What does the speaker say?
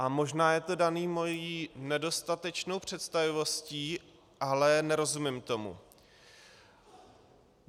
A možná je to dané mou nedostatečnou představivostí, ale nerozumím tomu.